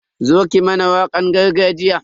Zo ki mana wakan gargajiya.